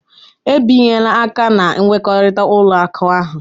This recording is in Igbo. Ebinyela aka na nkwekọrịta ụlọ akụ ahụ.